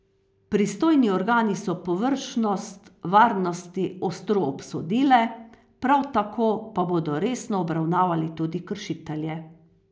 Pristojni organi so površnost varnosti ostro obsodile, prav tako pa bodo resno obravnavali tudi kršitelje.